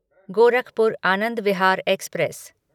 Gorakhpur Anand Vihar express